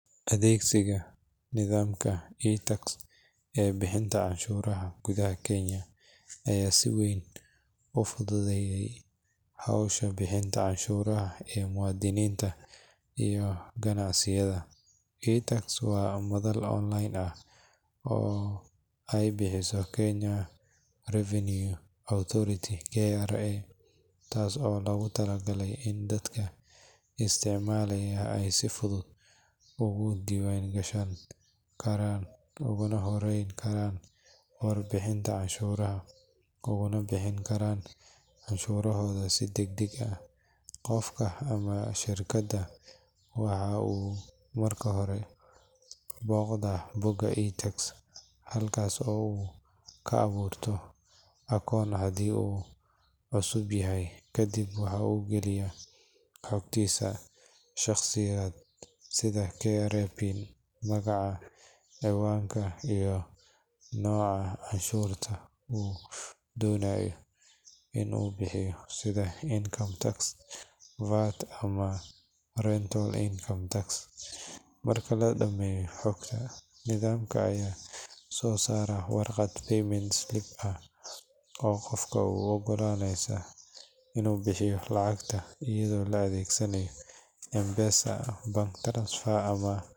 iTax waa nidaam dijitaal ah oo ay samaysay hay’adda Kenya Revenue Authority (KRA) si loo fududeeyo habka bixinta iyo soo celinta canshuuraha ee muwaadiniinta iyo ganacsiyada Kenya. Nidaamkan waxaa laga heli karaa online waxaana loogu talagalay inuu meesha ka saaro waraaqaha badan iyo safarrada lagu tago xafiisyada KRA. Qofka raba inuu isticmaalo iTax waa inuu marka hore iska diiwaangeliyaa website-ka rasmiga ah ee KRA isagoo adeegsanaya PIN canshuureed. Kadib marka la isdiiwaangeliyo, waxaa la helayaa koonto khaas ah oo qofku kaga shaqeysan karo adeegyo ay ka mid yihiin gudbinta foomamka canshuurta, bixinta canshuuraha, helidda risiidhada, iyo xitaa codsashada dib-u-celinta canshuuraha. iTax waxay si gaar ah ugu faa’iidaysaa ganacsatada, shaqaalaha, iyo ururada samafalka kuwaas oo si toos ah ugu gudbin kara foomamka.